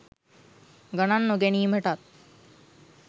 ගණන් නොගැනීමටත්